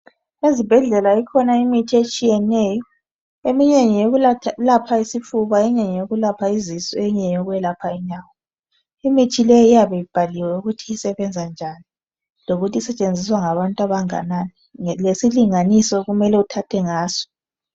Ezibhedlela ikhona imithi etshiyeneyo. Eminye ngeyokwelapha isifuba eminye ngayo kwelapha izisu eminye ngeyokwelapha inyawo. Imithi le iyabe ibhaliwe ukuthi isebenza njani ,lokuthi esetshenziswa ngabantu abanganani lesilinganiso okumele uthathe ngaso.